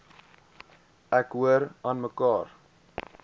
ek hoor aanmekaar